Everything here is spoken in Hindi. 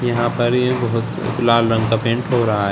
यहां पर ये बहुत से लाल रंग का पेंट हो रहा है।